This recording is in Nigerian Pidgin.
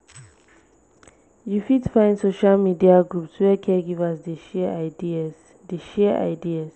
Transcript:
you fit find social media groups where caregivers dey share ideas. dey share ideas.